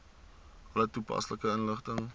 alle toepaslike inligting